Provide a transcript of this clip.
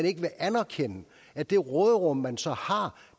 ikke anerkende at det råderum man så har